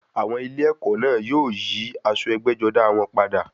Àwọn ilé ẹ̀kọ́ náà yóò yí aṣọ ẹgbẹ́-jọdá wọn padà.